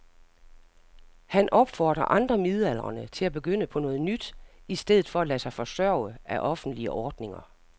Han opfordrer andre midaldrende til at begynde på noget nyt i stedet for at lade sig forsørge af offentlige ordninger.